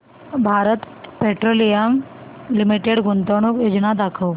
Bharat petroleum limited गुंतवणूक योजना दाखव